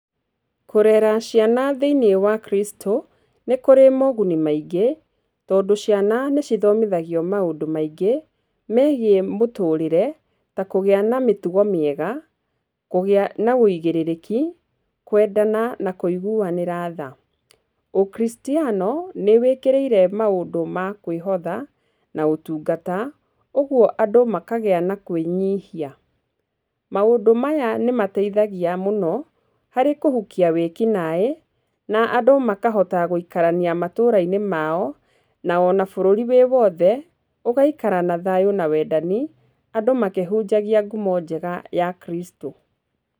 Kũrera ciana thĩinĩ wa Kristo nĩ kũrĩ moguni maingĩ tondũ ciana nĩ cithomithagio maũndũ maingĩ megiĩ mũtũrĩre. Ta kũgĩa na mĩtugo mĩega, kũgĩa na ũigĩrĩrĩki, kwendana na kũiguanĩra tha. Ũkristiano nĩ wĩkĩrĩire maũndũ ma kwĩhotha na ũtungata ũguo andũ makagĩa na kwĩnyihia. Maũndũ maya nĩ mateithagia mũno harĩ kũhukia wĩkinaĩ na andũ makahota gũikarania matũra-inĩ mao, na ona bũrũri wĩ wothe ũgaikara na thayũ na wendani, andũ makĩhunjagia ngumo njega ya Kristo.